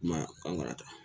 I ma ye an marata